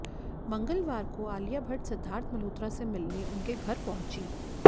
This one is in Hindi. मंगलवार को आलिया भट्ट सिद्धार्थ मल्होत्रा से मिलने उनके घर पहुंची